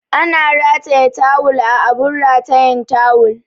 Ana rataya tawul a abun ratayan tawul